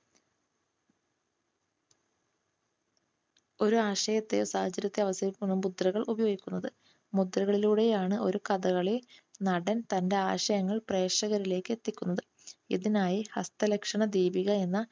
ഒരാശയത്തെയോ സാഹചര്യത്തെയോ അവതരിപ്പിക്കാനാണ് മുദ്ര ഉപയോഗിക്കുന്നത്. മുദ്രകളിലൂടെയാണ് ഒരു കഥകളി നടൻ തന്റെ ആശയങ്ങൾ പ്രേക്ഷകരിലേക്ക് എത്തിക്കുന്നത്. ഇതിനായി ഹസ്തലക്ഷണ ദീപിക എന്ന